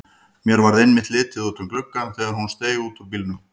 Mér varð einmitt litið út um gluggann þegar hún steig út úr bílnum.